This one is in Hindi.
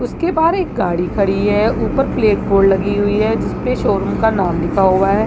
उसके बाहर एक गाड़ी खड़ी है ऊपर प्लेट बोर्ड लगी हुई है जिसपे शोरूम का नाम लिखा हुआ है।